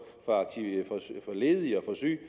for ledige og syge